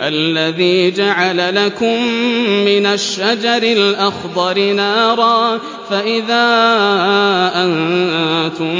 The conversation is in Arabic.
الَّذِي جَعَلَ لَكُم مِّنَ الشَّجَرِ الْأَخْضَرِ نَارًا فَإِذَا أَنتُم